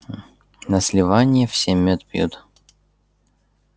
на сливанье все мёд пьют